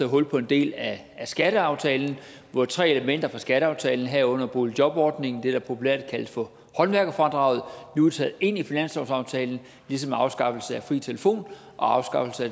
hul på en del af skatteaftalen hvor tre elementer fra skatteaftalen herunder boligjobordningen det der populært kaldes for håndværkerfradraget nu er taget ind i finanslovsaftalen ligesom afskaffelse af fri telefon og afskaffelse af